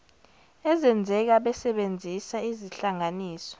ezenzeka besebenzisa izihlanganiso